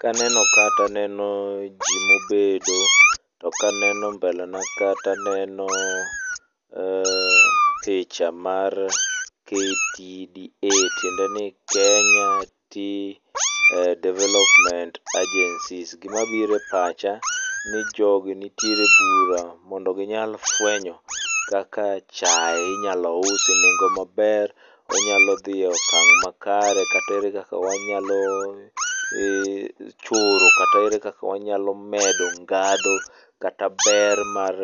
Kaneno ka ato aneno jii mobedo to ka aneno mbele na ka to aneno ee picha mar KTDA tiendeni Kenya tea development agencies. Gima biro epacha ni jogi nitiere bura mondo gi nyal fwenyo kaka chai inyalo us e nengo maber onyalo dhii e okang' makare kata ere kaka wanyalo choro kata ere kaka wanyalo medo ngadho, kata ber mar